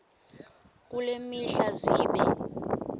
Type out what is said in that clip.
kule mihla zibe